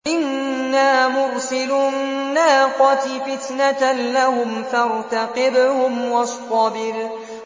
إِنَّا مُرْسِلُو النَّاقَةِ فِتْنَةً لَّهُمْ فَارْتَقِبْهُمْ وَاصْطَبِرْ